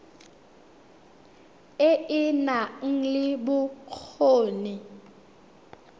e e nang le bokgoni